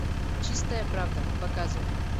чистая правда показывай